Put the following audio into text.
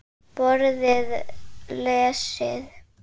Borðið lesið.